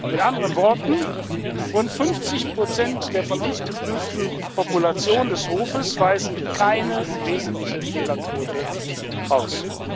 Mit anderen Worten Rund 50 der von uns geprüften Population des Hofes weisen keine wesentliche Fehlerquote auf.